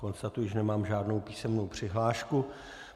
Konstatuji, že nemám žádnou písemnou přihlášku.